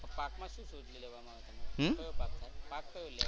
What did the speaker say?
પાકમાં શું શું લેવાનું. કયો પાક થાય. પાક કયો લેવાનો?